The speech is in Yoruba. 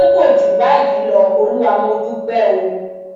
pé kò jù báyìí lọ olúwa mọ dúpẹ o